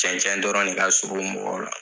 Cɛncɛn dɔrɔn de ka surun mɔgɔw la